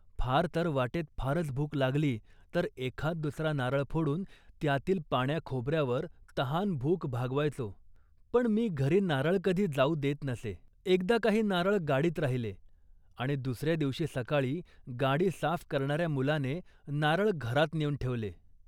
फार तर वाटेत फारच भूक लागली तर एखाद दुसरा नारळ फोडून त्यातील पाण्याखोबऱ्यावर तहानभूक भागवायचो, पण मी घरी नारळ कधी जाऊ देत नसे. एकदा काही नारळ गाडीत राहिले आणि दुसऱ्या दिवशी सकाळी गाडी साफ करणाऱ्या मुलाने नारळ घरात नेऊन ठेवले